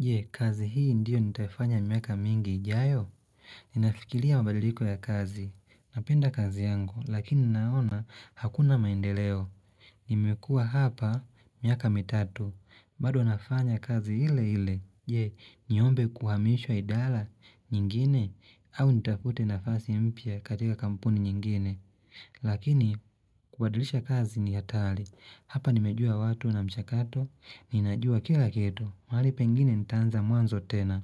Je, kazi hii ndiyo nitaifanya miaka mingi ijayo. Ninafikiria mabadiliko ya kazi. Napenda kazi yangu, lakini naona hakuna maendeleo. Nimekuwa hapa miaka mitatu. Bado nafanya kazi ile ile. Je, niombe kuhamishwa idara, nyingine, au nitafute nafasi mpya katika kampuni nyingine. Lakini, kubadilisha kazi ni hatari Hapa nimejua watu wanamshakato. Ninajua kila kitu. Mahali pengine nitaanza mwanzo tena